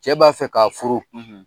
Cɛ b'a fɛ k'a furu.